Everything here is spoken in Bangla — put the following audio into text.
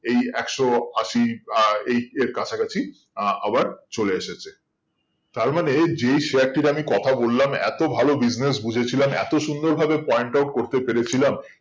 এই একশো আশি আহ এই এর কাছাকাছি আহ আবার চলে এসেছে তার মানে যেই share টির আমি কথা বললাম এত ভালো business বুঝে ছিলাম এত সুন্দর ভাবে point out করতে পেরে ছিলাম